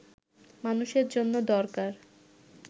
মানুষের জন্য দরকার